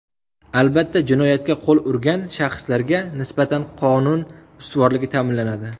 Albatta, jinoyatga qo‘l urgan shaxslarga nisbatan qonun ustuvorligi ta’minlanadi.